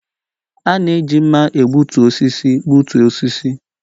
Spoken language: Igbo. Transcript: A na-eji mma egbutu osisi gbutuo osisi